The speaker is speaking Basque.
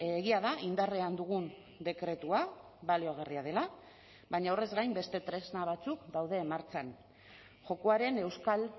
egia da indarrean dugun dekretua baliagarria dela baina horrez gain beste tresna batzuk daude martxan jokoaren euskal